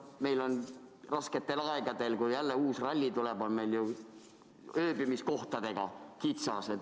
Meil on rasketel aegadel, kui jälle uus ralli tuleb, ööbimiskohtadega kitsas.